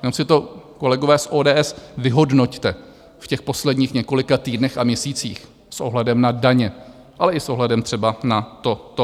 Jenom si to, kolegové z ODS, vyhodnoťte v těch posledních několika týdnech a měsících s ohledem na daně, ale i s ohledem třeba na toto.